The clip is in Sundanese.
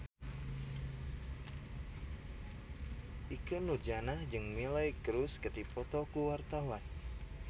Ikke Nurjanah jeung Miley Cyrus keur dipoto ku wartawan